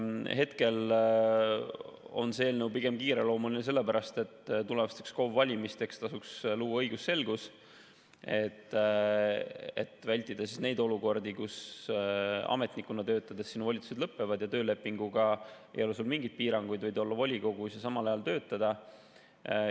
Hetkel on see eelnõu kiireloomuline pigem sellepärast, et tulevasteks KOV‑ide valimisteks tasuks luua õigusselgus, et vältida neid olukordi, kus ametnikuna töötades volitused lõpevad, töölepinguga ei ole sul mingeid piiranguid, võid olla volikogus ja samal ajal töötada.